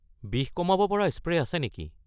বিষ কমাব পৰা স্প্ৰে' আছে নেকি?